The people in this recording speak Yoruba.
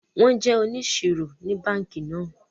Wón jé òníṣírò ní bánkì náà